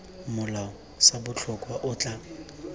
molao sa botlhokwa o tla